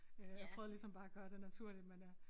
Øh jeg prøvede ligesom bare at gøre det naturligt men jeg